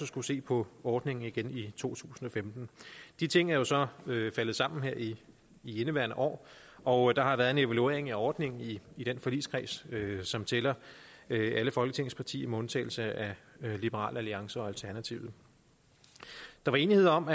skulle se på ordningen igen i to tusind og femten de ting er jo så faldet sammen her i indeværende år og der har været en evaluering af ordningen i den forligskreds som tæller alle folketingets partier med undtagelse af liberal alliance og alternativet der var enighed om